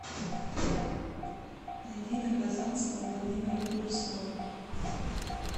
найди на казанском владимира курского